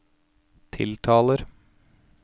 tiltaler